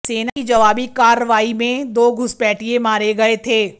सेना की जवाबी कार्रवाई में दो घुसपैठिये मारे गए थे